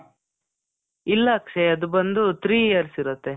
ಇಲ್ಲ ಅಕ್ಷಯ್. ಅದು ಬಂದು three years ಇರತ್ತೆ.